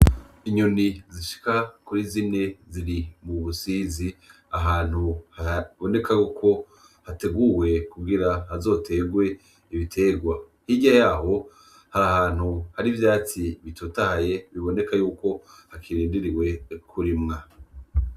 Inyoni zishika kuri zine ziri mu busizi ahantu haboneka yuko hateguwe kugira hazoterwe ibiterwa hirya yaho hari ahantu hari ivyatsi bitotahaye biboneka yuko hakirindiriwe kurimwa.